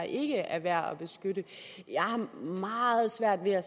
ikke er værd at beskytte jeg har meget svært ved at